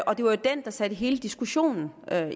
og det var jo den der satte hele diskussionen